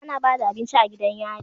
Ana Bada abinci a gidan yari